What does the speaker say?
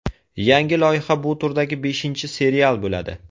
Yangi loyiha bu turdagi beshinchi serial bo‘ladi.